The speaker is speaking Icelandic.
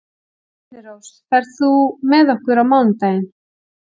Þyrnirós, ferð þú með okkur á mánudaginn?